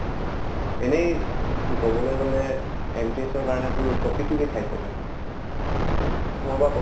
এনেইতো কবলৈ গʼলে MTS ৰ কাৰণে তোৰ topic কি কি চাইছʼ তই? প্ৰথমৰ পৰা কʼ।